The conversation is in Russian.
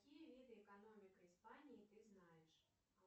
какие виды экономика испании ты знаешь